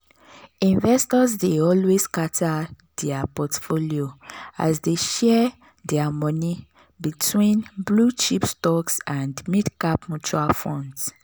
investors dey always scatter their portfolio as dey share their money between blue-chip stocks and mid-cap mutual funds.